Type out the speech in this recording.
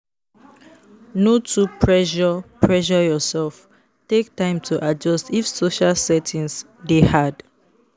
No too pressure pressure yourself; take time to adjust if social settings dey hard.